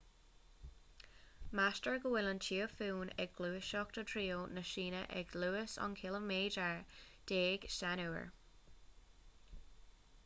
meastar go bhfuil an tíofún ag gluaiseacht i dtreo na síne ag luas aon chiliméadar déag san uair